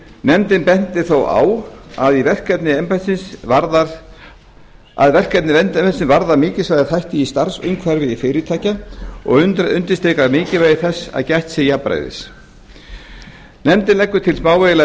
nefndin bendir þó á að verkefni embættisins varða mikilsverða þætti í starfsumhverfi fyrirtækja og undirstrikar mikilvægi þess að gætt sé jafnræðis nefndin leggur til smávægilegar